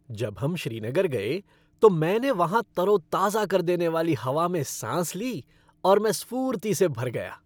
जब हम श्रीनगर गए, तो मैंने वहाँ तरोताज़ा कर देने वाली हवा में साँस ली और मैं स्फूर्ति से भर गया।